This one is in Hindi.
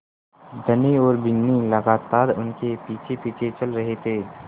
धनी और बिन्नी लगातार उनके पीछेपीछे चल रहे थे